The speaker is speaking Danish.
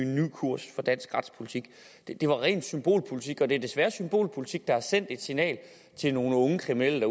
kurs for dansk retspolitik det det var ren symbolpolitik og det er desværre symbolpolitik der sender et signal til nogle unge kriminelle